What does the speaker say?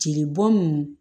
Jeli bɔn nunnu